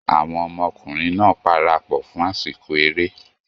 Àwọn ọmọkùnrin náà parapọ̀ fún àsìkò eré